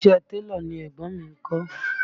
Iṣẹ́ ẹ télọ̀ ni ẹ̀gbọ́n mi ń kọ́